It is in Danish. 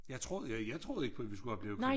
Jeg troede ja jeg troede ikke på vi skulle opleve krig